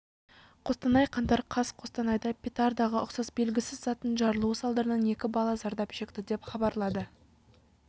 қостанай қаңтар қаз қостанайда петардаға ұқсас белгісіз заттың жарылуы салдарынан екі бала зардап шекті деп хабарлады